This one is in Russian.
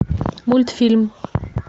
мультфильм